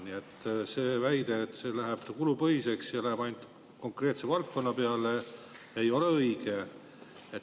Nii et see väide, et see läheb kulupõhiseks ja läheb ainult konkreetse valdkonna peale, ei ole õige.